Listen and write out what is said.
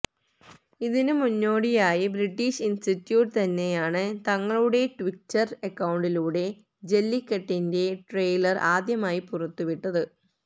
ഇതിന് മുന്നോടിയായി British institute തന്നെയാണ് തങ്ങളുടെ ട്വിറ്റര് അക്കൌണ്ടിലൂടെ ജല്ലിക്കട്ടിന്റെ ട്രെയ്ലര് ആദ്യമായി പുറത്തുവിട്ടത്